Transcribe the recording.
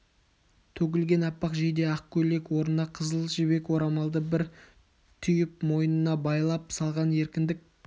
төгілген аппақ жейде ақ көйлек орнына қызыл жібек орамалды бір түйіп мойнына байлай салған еркіндік